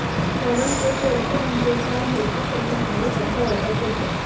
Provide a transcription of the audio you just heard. कारण एक वर्ष म्हणजे फार मोठा पल्ला आहे असं वाटत होतं